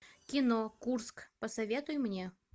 кино курск посоветуй мне